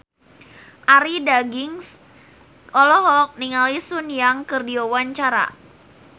Arie Daginks olohok ningali Sun Yang keur diwawancara